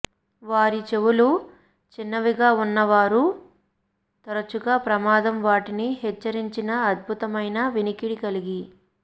వారి చెవులు చిన్నవిగా ఉన్నా వారు తరచుగా ప్రమాదం వాటిని హెచ్చరించిన అద్భుతమైన వినికిడి కలిగి